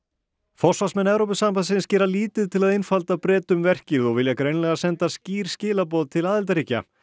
forsvarsmenn Evrópusambandsins gera lítið til að einfalda Bretum verkið og vilja greinilega senda skýr skilaboð til aðildarríkja